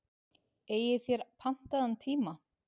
Eigið þér pantaðan tíma?